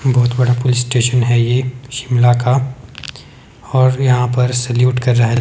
बहोत बड़ा police station है ये शिमला का और यहां पर सैल्यूट कर रहा--